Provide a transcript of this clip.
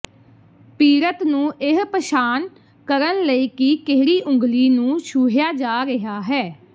ਪੀੜਤ ਨੂੰ ਇਹ ਪਛਾਣ ਕਰਨ ਲਈ ਕਿ ਕਿਹੜੀ ਉਂਗਲੀ ਨੂੰ ਛੂਹਿਆ ਜਾ ਰਿਹਾ ਹੈ